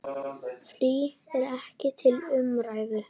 Frí er ekki til umræðu.